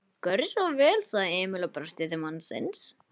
Gjörðu svo vel, sagði Emil og brosti til mannsins.